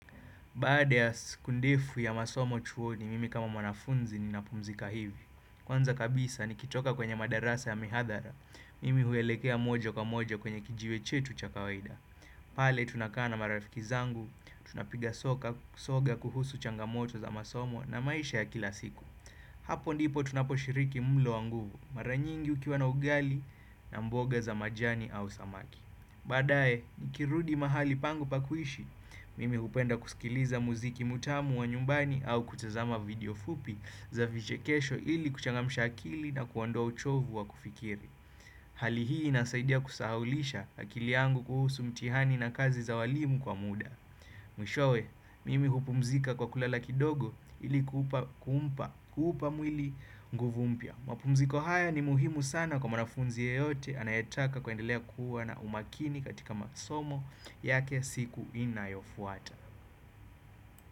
Baada ya siku ndefu ya masomo chuoni, mimi kama mwanafunzi ni napumzika hivi. Kwanza kabisa, nikitoka kwenye madarasa ya mihadhara, mimi huelekea mojo kwa mojo kwenye kijiwe chetu chakawaida. Pale, tunakaana marafikizangu, tunapiga soka soga kuhusu changamoto za masomo na maisha ya kila siku. Hapo ndipo tunaposhiriki mlo wa nguvu, maranyingi ukiwa na ugali na mboga za majani au samaki. Baadae, nikirudi mahali pangu pakuishi, mimi hupenda kusikiliza muziki mutamu wa nyumbani au kutazama video fupi za viche kesho ili kuchangamisha akili na kuondoa uchovu wa kufikiri. Hali hii inasaidia kusahaulisha akili yangu kuhusu mtihani na kazi za walimu kwa muda. Mwishowe, mimi hupumzika kwa kulala kidogo ili kupa kumpa kuupa mwili nguvumpya. Mapumziko haya ni muhimu sana kwa mwanafunzi yeyote anayetaka kuendelea kuwa na umakini katika masomo yake siku inayofuata.